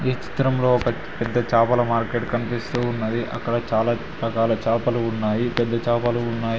చిత్రంలో పెద్ద చేపల మార్కెట్ కనిపిస్తూ ఉన్నది అక్కడ చాలా రకాల చేపల ఉన్నాయి పెద్ద చేపలు ఉన్నాయి.